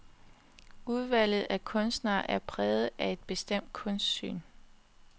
Udvalget af kunstnere er præget af et bestemt kunstsyn.